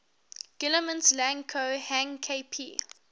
guillemets lang ko hang kp